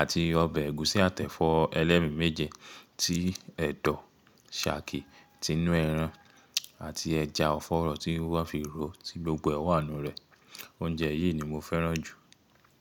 àti ọbẹ̀ ẹ̀gúsí àtẹ efọ ẹlẹ́mi méje tí ẹ̀dọ̀, ṣàki ti inú ẹran àti ẹja ọ̀fọ̀rọ̀ tí wọ́n fi ro ti gbogbo ẹ̀wá inú rẹ̀. Oúnjẹ yìí ni mo fẹ́ràn jù.